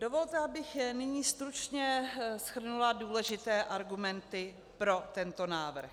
Dovolte, abych nyní stručně shrnula důležité argumenty pro tento návrh.